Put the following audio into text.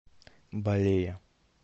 балея